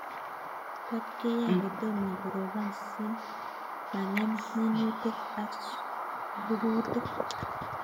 Tap keyae kotomo koropon si mangem mianutik ak susurik